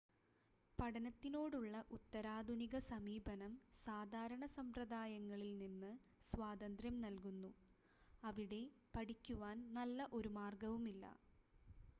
പഠനത്തിനോടുള്ള ഉത്തരാധുനിക സമീപനം സാധാരണ സമ്പദ്രായങ്ങളിൽ നിന്ന് സ്വാതന്ത്ര്യം നൽകുന്നു അവിടെ പഠിക്കുവാൻ നല്ല ഒരു മാർഗ്ഗവുമില്ല